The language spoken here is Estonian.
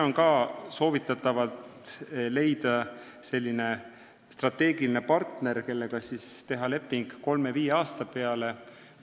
On ka soovitatav leida strateegiline partner, kellega saaks teha lepingu 3–5 aasta peale.